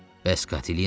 Bəs Katelina?